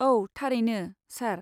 औ, थारैनो, सार।